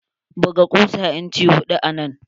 Buga kusa inci hudu anan.